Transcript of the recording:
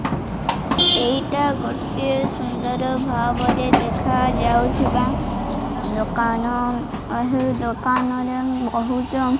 ଏଇଟା ଗୋଟିଏ ସୁନ୍ଦର ଭାବରେ ଦେଖାଯାଉଥିବା ଦୋକାନ। ଏହି ଦୋକାନରେ ବହୁତ --